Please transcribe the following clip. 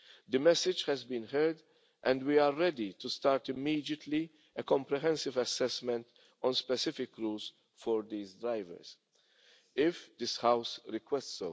The message has been heard, and we are ready to start immediately a comprehensive assessment on specific rules for these drivers, if this House so requests.